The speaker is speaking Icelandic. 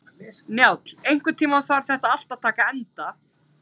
Njáll, einhvern tímann þarf allt að taka enda.